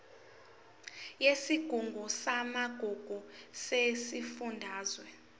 yesigungu samagugu sesifundazwe